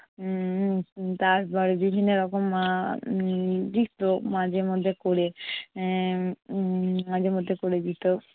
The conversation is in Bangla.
উম উম তারপর বিভিন্ন রকম আহ উম দিতো মাঝে মধ্যে করে উম উম মাঝে মধ্যে করে দিতো।